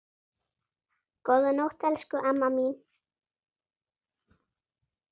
Góða nótt, elsku amma mín.